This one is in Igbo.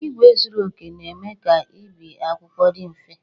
Igwe zuru oke na-eme ka ebi akwụkwọ dị mfe